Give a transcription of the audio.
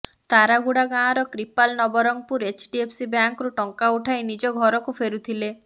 ତାରାଗୁଡା ଗାଁର କ୍ରିପାଲ ନବରଙ୍ଗପୁର ଏଚ୍ଡିଏଫ୍ସି ବ୍ୟାଙ୍କରୁ ଟଙ୍କା ଉଠାଇ ନିଜ ଘରକୁ ଫେରୁଥିଲେ